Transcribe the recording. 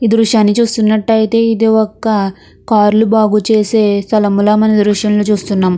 ఈ దృశ్యాన్ని చూస్తున్నట్టు అయితే ఇది ఒక్క కార్లు బాగు చేసే స్థలముల మనం ఈ దృశ్యంలో చూస్తున్నాం.